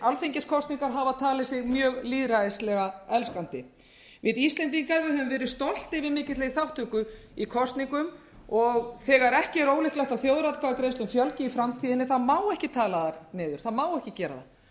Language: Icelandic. alþingiskosningar hafa talið sig mjög lýðræðislega elskandi við íslendingar höfum verið stoltir yfir mikilli þátttöku í kosningum og þegar ekki er ólíklegt að þjóðaratkvæðagreiðslum fjölgi í framtíðinni þá má ekki tala þær niður það má ekki gera það